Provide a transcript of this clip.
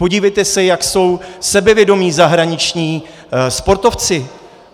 Podívejte se, jak jsou sebevědomí zahraniční sportovci.